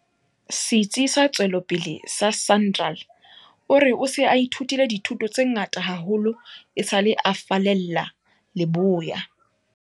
Setsi sa Tswe lopele sa SANRAL, o re o se a ithutile dithuto tse ngata haholo esale a fallela leboya.